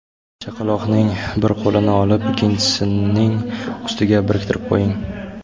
Chaqaloqning bir qo‘lini olib, ikkinchisining ustiga biriktirib qo‘ying.